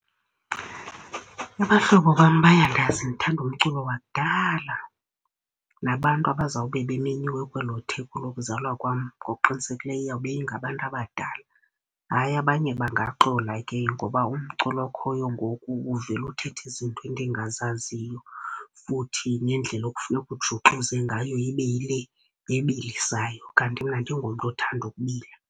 Abahlobo bam bayandazi ndithanda umculo wakudala. Nabantu abazawube bemenyiwe kwelo theko lokuzalwa kwam ngokuqinisekileyo iyawube ingabantu abadala. Hayi, abanye bangaxola ke ngoba umculo okhoyo ngoku uvele uthethe izinto endingazaziyo. Futhi nendlela okufuneka ujuxuze ngayo ibe yile ebilisayo kanti mna andingomntu othanda ukubila.